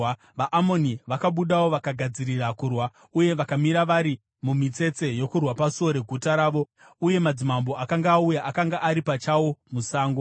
VaAmoni vakabudawo vakagadzirira kurwa uye vakamira vari mumitsetse yokurwa pasuo reguta ravo, uye madzimambo akanga auya akanga ari pachawo musango.